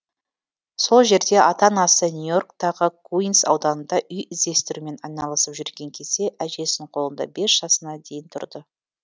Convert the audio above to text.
сол жерде ата анасы нью йорктағы куинс ауданында үй іздестірумен айналасып жүрген кезде әжесінің қолында бес жасына дейін тұрды